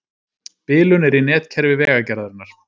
Bilun er í netkerfi Vegagerðarinnar